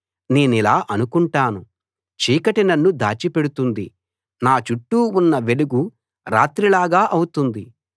నేనిలా అనుకుంటాను చీకటి నన్ను దాచిపెడుతుంది నా చుట్టూ ఉన్న వెలుగు రాత్రిలాగా అవుతుంది